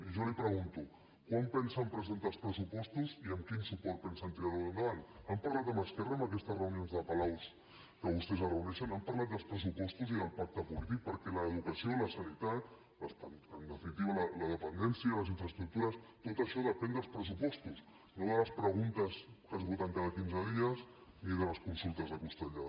i jo li pregunto quan pensen presentar els pressupostos i amb quin suport pensen tirar los endavant han parlat amb esquerra en aquestes reunions de palaus en què vostès es reuneixen han parlat dels pressupostos i del pacte polític perquè l’educació la sanitat en definitiva la dependència les infraestructures tot això depèn dels pressupostos no de les preguntes que es voten cada quinze dies ni de les consultes de costellada